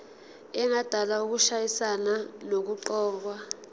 engadala ukushayisana nokuqokwa